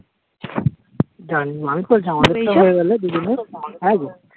জানি আমি তো জানি দুজনের হ্যাঁগো